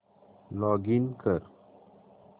login कर